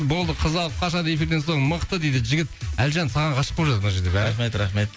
болды қызды алып қашады эфирден соң мықты дейді жігіт әлжан саған ғашық болып жатыр мына жерде бәрі рахмет рахмет